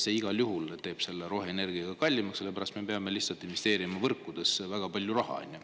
See igal juhul teeb roheenergia kallimaks, sellepärast et me peame investeerima võrkudesse väga palju raha.